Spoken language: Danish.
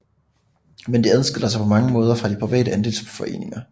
Men de adskiller sig på mange måder fra de private andelsboligforeninger